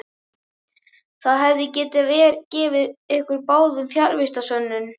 Það hefði gefið ykkur báðum fjarvistarsönnun.